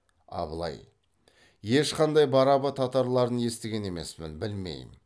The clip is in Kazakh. абылай ешқандай барабы татарларын естіген емеспін білмеймін